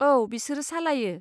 औ बिसोरो सालायो।